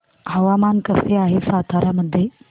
हवामान कसे आहे सातारा मध्ये